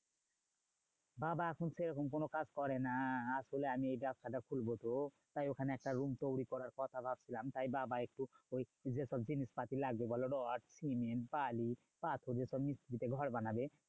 বাবা এখন সেরকম কোনো কাজ করে না। আসলে আমি এই ব্যাবসাটা খুলবো তো, তাই ওখানে একটা room তৈরী করার কথা ভাবছিলাম। তাই বাবা একটু ওই যেসব জিনিসপাতি লাগবে বলো রড, সিমেন্ট, বালি, পাথর ও সব মিস্ত্রিতে ঘর বানাবে